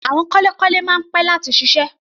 Àwọn kọ́lékọ́lé máa ń pẹ́ láti ṣiṣẹ́.